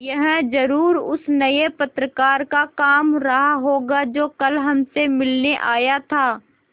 यह ज़रूर उस नये पत्रकार का काम रहा होगा जो कल हमसे मिलने आया था